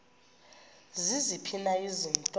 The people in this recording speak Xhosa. ziziphi na izinto